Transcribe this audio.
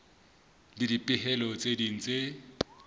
le dipehelo tse ding tse